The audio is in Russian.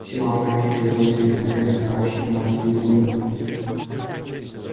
всё опрометью бросились на ферму сообщить новость визгуну